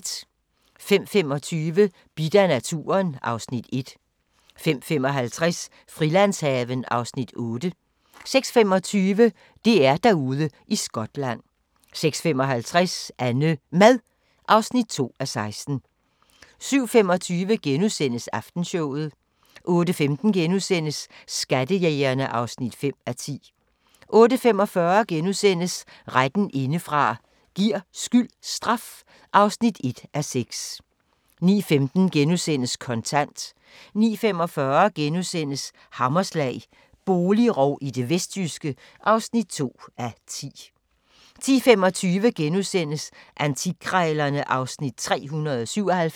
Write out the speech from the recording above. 05:25: Bidt af naturen (Afs. 1) 05:55: Frilandshaven (Afs. 8) 06:25: DR-Derude i Skotland 06:55: AnneMad (2:16) 07:25: Aftenshowet * 08:15: Skattejægerne (5:10)* 08:45: Retten indefra – giver skyld straf? (1:6)* 09:15: Kontant * 09:45: Hammerslag – boligrov i det vestjyske (2:10)* 10:25: Antikkrejlerne (Afs. 397)